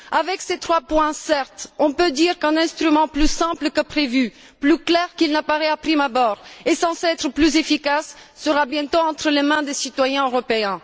Avec ces trois points, certes, on peut dire qu'un instrument plus simple que prévu, plus clair qu'il n'apparaît de prime abord et censé être plus efficace sera bientôt entre les mains des citoyens européens.